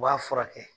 U b'a furakɛ